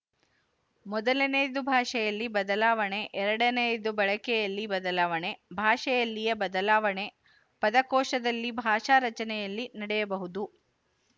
ಮೊದಲನೆಯದು ಭಾಷೆಯಲ್ಲಿ ಬದಲಾವಣೆ ಎರಡನೆಯದು ಬಳಕೆಯಲ್ಲಿ ಬದಲಾವಣೆ ಭಾಷೆಯಲ್ಲಿಯ ಬದಲಾವಣೆ ಪದಕೋಶದಲ್ಲಿ ಭಾಷಾರಚನೆಯಲ್ಲಿ ನಡೆಯಬಹುದು